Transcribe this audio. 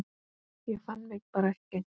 Ég fann mig bara ekki.